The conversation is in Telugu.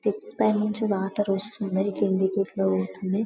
స్టెప్స్ పై నుంచి వాటర్ వస్తున్నాయి కిందికి ఫ్లో అవుతున్నాయి.